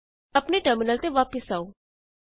ਆਪਣੇ ਟਰਮਿਨਲ ਤੇ ਵਾਪਸ ਆਉ